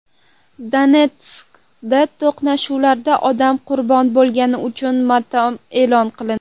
Donetskda to‘qnashuvlarda odam qurbon bo‘lganligi uchun motam e’lon qilindi.